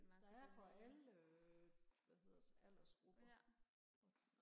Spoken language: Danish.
der er for alle hvad hedder sådan noget aldersgrupper